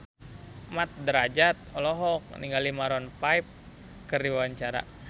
Mat Drajat olohok ningali Maroon 5 keur diwawancara